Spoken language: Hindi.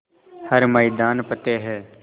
हर मैदान फ़तेह